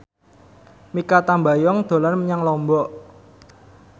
Mikha Tambayong dolan menyang Lombok